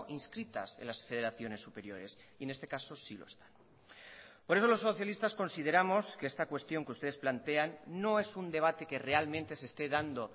inscritas en las federaciones superiores y en este caso sí lo están por eso los socialistas consideramos que esta cuestión que ustedes plantean no es un debate que realmente se esté dando